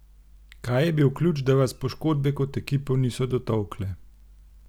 Kaj je bil ključ, da vas poškodbe kot ekipo niso dotolkle?